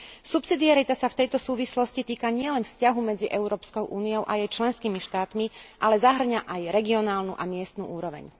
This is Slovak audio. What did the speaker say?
Subsidiarita sa v tejto súvislosti týka nielen vzťahu medzi Európskou úniou a jej členskými štátmi, ale zahŕňa aj regionálnu a miestnu úroveň.